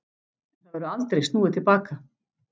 En það verður aldrei snúið til baka.